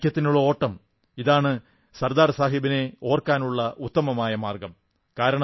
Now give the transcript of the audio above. ഐക്യത്തിനുള്ള ഓട്ടം ഇതാണ് സർദാർ സാഹബിനെ ഓർക്കാനുള്ള ഉത്തമമായ മാർഗ്ഗം